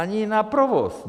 Ani na provoz!